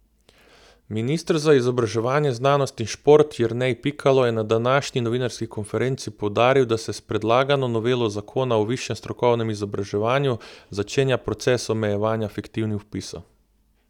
Minister za izobraževanje, znanost in šport Jernej Pikalo je na današnji novinarski konferenci poudaril, da se s predlagano novelo zakona o višjem strokovnem izobraževanju začenja proces omejevanja fiktivnih vpisov.